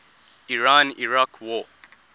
iran iraq war